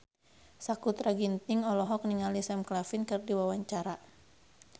Sakutra Ginting olohok ningali Sam Claflin keur diwawancara